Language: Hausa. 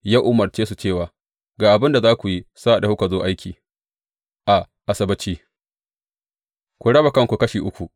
Ya umarce su cewa, Ga abin da za ku yi sa’ad da kuka zo aiki a Asabbaci, ku raba kanku kashi uku.